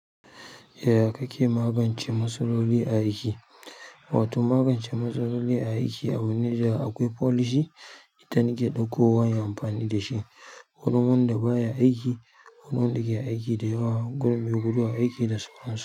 Yaya kake magance matsaloli a aiki? Wato magance matsaloli a aiki a wani ja akwai folishi, ita nike ɗaukowa inyi amfani da shi, kuɗin wanda baya aiki, ƙudin wanda da ke aiki dayawa, me guduwa aiki da sauransu,